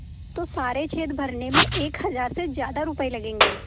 तो सारे छेद भरने में एक हज़ार से ज़्यादा रुपये लगेंगे